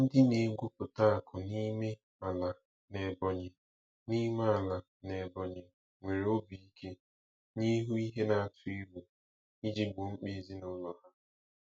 Ndị na-egwupụta akụ n'ime ala n'Ebonyi n'ime ala n'Ebonyi nwere obi ike n' ihu ihe na-atụ egwu iji gboo mkpa ezinụlọ ha.